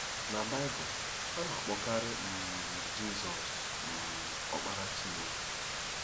Na Baịbụl, a na-akpọkarị um Jizọs um “Ọkpara Chineke.”